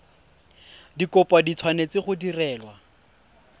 dikopo di tshwanetse go direlwa